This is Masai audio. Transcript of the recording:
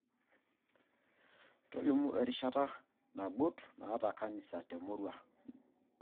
Tolimu erishata nagut naata kanisa temurua